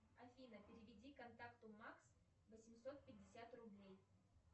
афина переведи контакту макс восемьсот пятьдесят рублей